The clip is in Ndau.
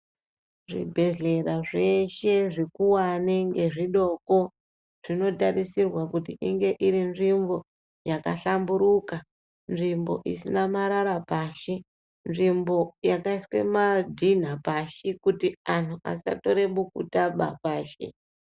Zvibhedhlera zveshe zvikuwani ngezvidoko, zvinotarisirwa kuti inge iri nzvimbo yakahlamburuka, nzvimbo isina marara pashi, nzvimbo yakaiswe madhinha pashi, kuti anhu asatore bukutaba pashi.